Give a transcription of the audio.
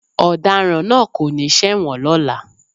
Ọ̀daràn náà kò ní ṣẹ̀wọ̀n lọ́la.